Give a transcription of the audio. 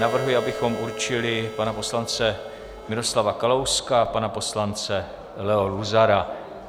Navrhuji, abychom určili pana poslance Miroslava Kalouska a pana poslance Leo Luzara.